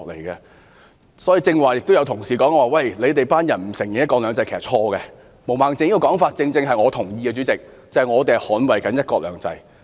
剛才有同事指我們不承認"一國兩制"，這說法是錯誤的，我認同毛孟靜議員的說法，主席，我們正是在捍衞"一國兩制"。